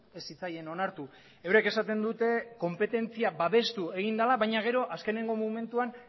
ez zitzaien onartu eurek esaten dute konpetentzia babestu egin dela baina gero azkeneko momentuan